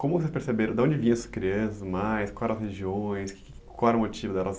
Como vocês perceberam, de onde vinham essas crianças, quais eram as regiões, quais eram os motivos?